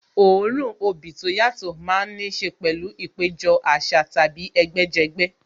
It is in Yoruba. Òórùn obì tó yàtọ̀ má ń níṣe pẹ̀lú ìpéjọ àṣà tàbí ẹgbẹ́ jẹgbẹ́